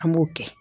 An b'o kɛ